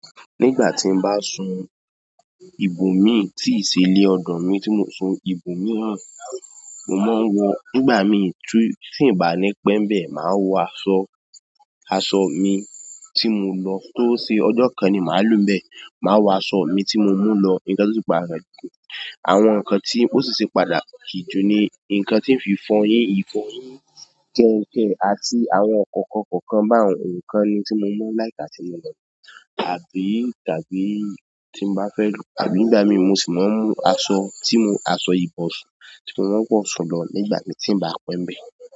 Nígbà tí n bá sun ibò míì tí ì ṣe lé ọ̀dọ̀ mi tí mò ń sùn ibò mìíràn, mo máa ń wo, nígbà míì tí tí ǹ bá ní pẹ́ ḿbẹ̀ màá wọ aṣọ, aṣọ ọ̀ mi tí mo lọ tó ṣe ọjọ́ kan ni màá lò ḿbẹ̀ màá wọ aṣọ ọ̀ mi tí mo mú lọ nǹkan tó tún ṣe pàtàkì jù, àwọn nǹkan tí ó sì ṣe pàtàkì jù ni nǹkan ti ń fi fọyín, ìfọyín, kànǹkàn, àti àwọn ǹkankan kọ̀ọ̀kan báwun ni ǹkan tí mo ma ń like àti, àbí tàbí nígbà míì mo sì ma ń mú aṣọ tí mo, aṣọ ìbọ̀sùn tí mo máa ń wọ̀ sùn lọ nígbà míì tí ńbà á pẹ́ ḿbẹ̀.